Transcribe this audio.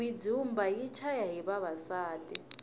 mindzumba yi chaya hi vavasati